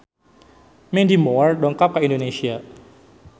Mandy Moore dongkap ka Indonesia